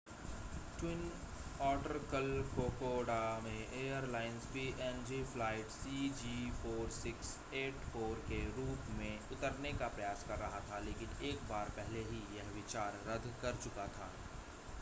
twin otter कल Kokoda में airlines PNG flight cg4684 के रूप में उतरने का प्रयास कर रहा था लेकिन एक बार पहले ही यह विचार रद्द कर चुका था